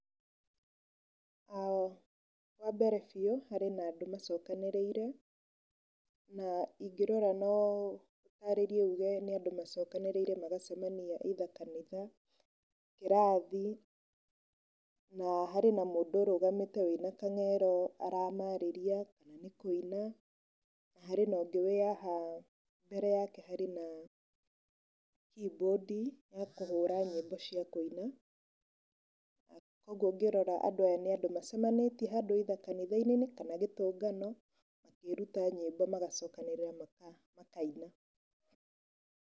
Wambere biũ harĩ na andũ macokanĩrĩire, na ingĩrora no ndarĩrie njuge nĩ andũ macokanĩrĩire magacemania either kanitha, kĩrathi na hena mũndũ ũrũgamĩte ena kamero aramarĩria kana kũina. Harĩ na ũngĩ wĩ haha mbere yake harĩ na keyboard ya kũhũra nyĩmbo cia kũina. Oguo ngĩrora aya nĩ andũ macemanĩtie handũ either kanitha-inĩ kana gĩtũngano makĩruta nyĩmbo magacokanĩrĩra makaina.